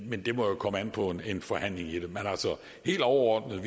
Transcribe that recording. men det må jo komme an på en forhandling men helt overordnet